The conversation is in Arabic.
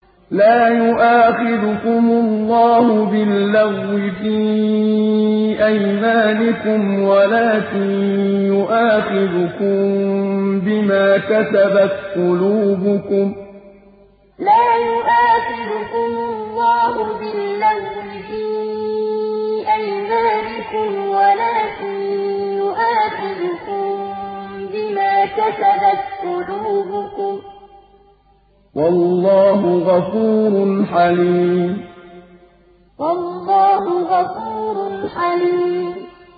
لَّا يُؤَاخِذُكُمُ اللَّهُ بِاللَّغْوِ فِي أَيْمَانِكُمْ وَلَٰكِن يُؤَاخِذُكُم بِمَا كَسَبَتْ قُلُوبُكُمْ ۗ وَاللَّهُ غَفُورٌ حَلِيمٌ لَّا يُؤَاخِذُكُمُ اللَّهُ بِاللَّغْوِ فِي أَيْمَانِكُمْ وَلَٰكِن يُؤَاخِذُكُم بِمَا كَسَبَتْ قُلُوبُكُمْ ۗ وَاللَّهُ غَفُورٌ حَلِيمٌ